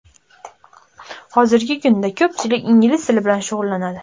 Hozirgi kunda ko‘pchilik ingliz tili bilan shug‘ullanadi.